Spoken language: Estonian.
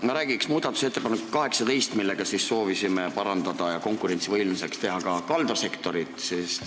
Ma räägin muudatusettepanekust 18, millega me soovisime konkurentsivõimelisemaks teha ka kaldasektorit.